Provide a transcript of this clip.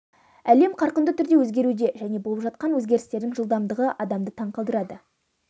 әлем қарқынды түрде өзгеруде және болып жатқан өзгерістердің жылдамдығы адамды таң қалдырады